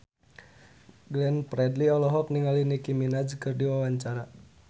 Glenn Fredly olohok ningali Nicky Minaj keur diwawancara